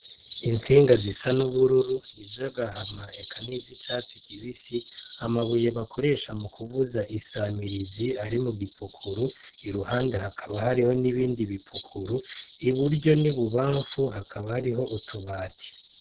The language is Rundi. Intsinga zisa n' ubururu, iz'agahama eka n' izicatsi kibisi, amabuye bakoresha mu kuvuza insamirizi ari mu gipukuru, iruhande hakaba hariyo n' ibindi bipukuru, iburyo n'ibubanfu hakaba hari utubati.